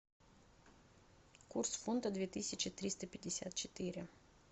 курс фунта две тысячи триста пятьдесят четыре